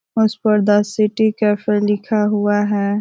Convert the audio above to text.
उस पर the City Cafe लिखा हुआ है।